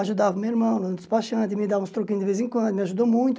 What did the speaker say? Ajudava o meu irmão, nos despachantes, me dava uns troquinhos de vez em quando, me ajudou muito.